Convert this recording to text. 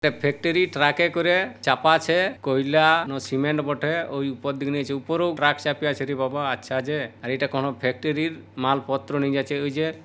factory ট্রাকে করে চাপা আছে কয়লান সিমেন্ট বটে ওই উপর দিয়ে নিয়েচে উপরও ট্রাক চাপিয়ে আছে রে বাবা আচ্ছা যে আর এটা কোনো ফ্যাক্টরির মাল পত্র নিয়ে যাচ্ছে